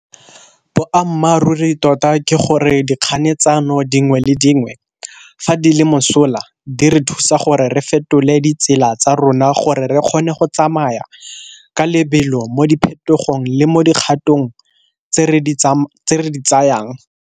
Boammaruri tota ke gore, dikganetsano dingwe le dingwe, fa di le mosola, di re thusa gore re fetole ditsela tsa rona gore re kgone go tsamaya ka lebelo mo diphetogong le mo dikgatong tse re di tsayang.